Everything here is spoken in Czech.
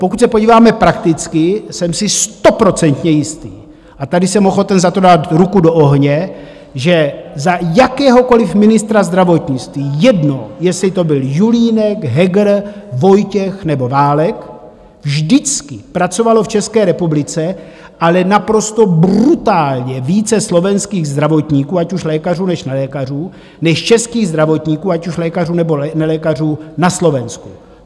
Pokud se podíváme prakticky, jsem si stoprocentně jistý - a tady jsem ochoten za to dát ruku do ohně - že za jakéhokoli ministra zdravotnictví, jedno, jestli to byl Julínek, Heger, Vojtěch nebo Válek, vždycky pracovalo v České republice, ale naprosto brutálně, více slovenských zdravotníků, ať už lékařů, nebo nelékařů, než českých zdravotníků, ať už lékařů, nebo nelékařů, na Slovensku.